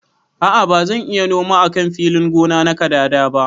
A'a bazan iya noma a kan filin gona na kadada ba.